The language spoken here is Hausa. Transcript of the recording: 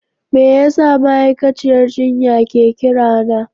Me yasa ma'aikaciyar jinya ke kirana?